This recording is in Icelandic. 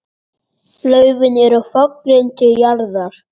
Laufin eru fallin til jarðar.